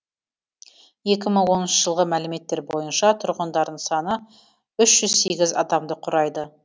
екі мың оныншы жылғы мәліметтер бойынша тұрғындарының саны үш жүз сегіз адамды құрайды